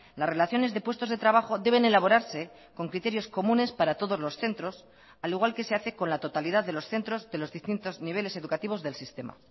las relaciones de puestos de trabajo deben elaborarse con criterios comunes para todos los centros al igual que se hace con la totalidad de los centros de los distintos niveles educativos del sistema